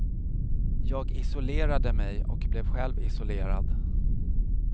Jag isolerade mig och blev själv isolerad.